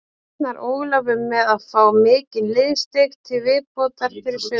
Reiknar Ólafur með að fá mikinn liðsstyrk til viðbótar fyrir sumarið?